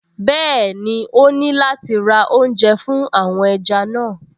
Bẹ́ẹ̀ni, ó ní láti ra oúnjẹ fún àwọn ẹja náà